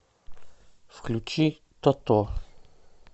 включи тото